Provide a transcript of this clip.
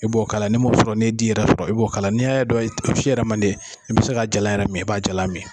I b'o k'a la, ni m'o sɔrɔ n'i di yɛrɛ sɔrɔ i b'o k'a la .N'i ya dɔn o si yɛrɛ man d'i ye, i bi se ka jalan yɛrɛ mi i b'a jala mi.